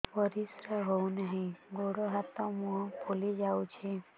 ପରିସ୍ରା ହଉ ନାହିଁ ଗୋଡ଼ ହାତ ମୁହଁ ଫୁଲି ଯାଉଛି